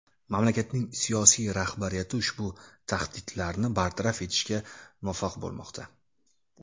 Mamlakatning siyosiy rahbariyati ushbu tahdidlarni bartaraf etishga muvaffaq bo‘lmoqda.